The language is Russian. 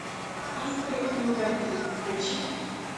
искры и угольки включи